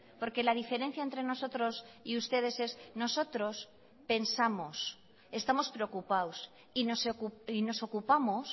porque la diferencia entre nosotros y ustedes es nosotros pensamos estamos preocupados y nos ocupamos